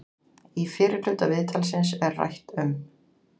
Í fyrri hluta viðtalsins er rætt um